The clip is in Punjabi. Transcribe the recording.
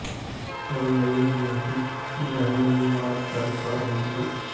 ਹੌਲੀ ਹੌਲੀ ਇਹ ਕਮੇਟੀ ਬ੍ਰਾਹਮਣਵਾਦ ਦਾ ਸ਼ਿਕਾਰ ਹੁੰਦੀ ਗਈ